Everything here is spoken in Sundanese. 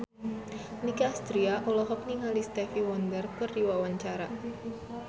Nicky Astria olohok ningali Stevie Wonder keur diwawancara